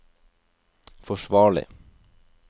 forsvarlig